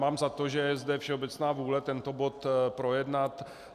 Mám za to, že je zde všeobecná vůle tento bod projednat.